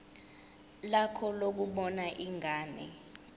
lakho lokubona ingane